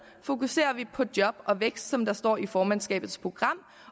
fokuserer vi på job og vækst som der står i formandskabets program